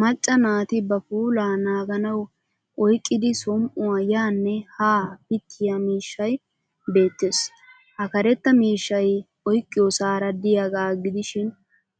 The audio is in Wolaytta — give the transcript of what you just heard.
Macca naati ba puulaa naaganawu oyqqidi som'uwaa yaanne haa pittiy miishshay beettes. Ha karetta miishshay oyqqiyoosaara diyagaa gidishin